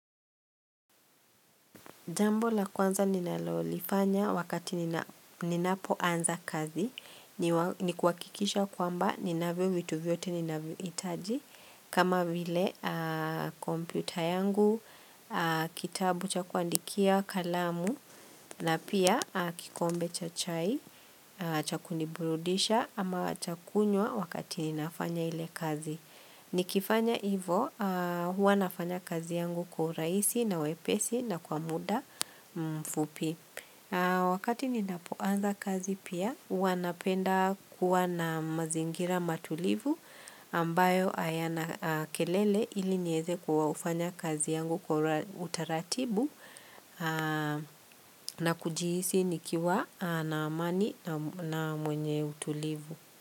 Jambo la kwanza ninalolifanya wakati ninapoanza kazi ni kuhakikisha kwamba ninavyo vitu vyote ninavyohitaji kama vile kompyuta yangu, kitabu cha kuandikia, kalamu na pia kikombe cha chai cha kuniburudisha ama cha kunywa wakati ninafanya ile kazi Nikifanya hivo huwa nafanya kazi yangu kwa urahisi na wepesi na kwa muda mfupi Wakati ni napoanza kazi pia huwa napenda kuwa na mazingira matulivu ambayo hayana kelele ili niweze kufanya kazi yangu kwa utaratibu na kujiisi nikiwa na amani na mwenye utulivu.